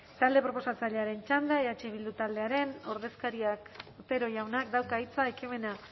talde proposatzailearen txanda eh bildu taldearen ordezkariak otero jaunak dauka hitza ekimena